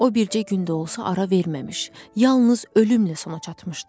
O bircə gün də olsa ara verməmiş, yalnız ölümlə sona çatmışdı.